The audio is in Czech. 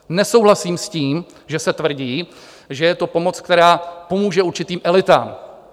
Nesouhlasím s tím, že se tvrdí, že je to pomoc, která pomůže určitým elitám.